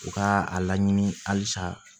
U ka a laɲini halisa